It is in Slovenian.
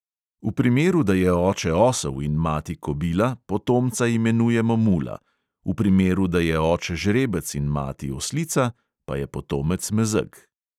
V primeru, da je oče osel in mati kobila, potomca imenujemo mula, v primeru, da je oče žrebec in mati oslica pa je potomec mezeg.